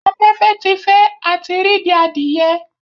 Afẹfẹ ti fẹ, a tí r'idi adìye